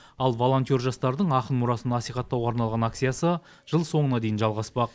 ал волонтер жастардың ақын мұрасын насихаттауға арналған акциясы жыл соңына дейін жалғаспақ